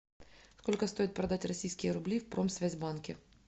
сколько стоит продать российские рубли в промсвязьбанке